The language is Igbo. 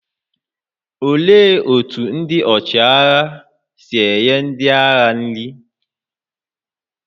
Olee otú ndị ọchịagha si nye ndị agha nri?